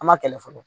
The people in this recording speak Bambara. An ma kɛlɛ fɔlɔ